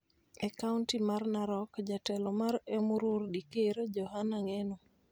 E kaonti mar Narok, jatelo mar Emurua Dikir, Johana Ngeno